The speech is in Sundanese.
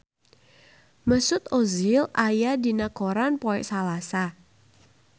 Mesut Ozil aya dina koran poe Salasa